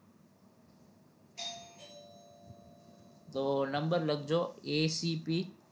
તો number લખજો A C P